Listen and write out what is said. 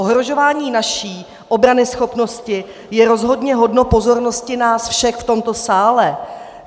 Ohrožování naší obranyschopnosti je rozhodně hodno pozornosti nás všech v tomto sále.